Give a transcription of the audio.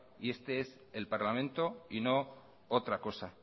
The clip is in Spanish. este es el parlamento y no otra cosa